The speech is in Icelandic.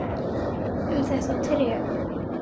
Um þetta tré.